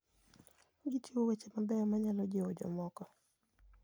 Gichiwo weche mabeyo manyalo jiwo jomoko.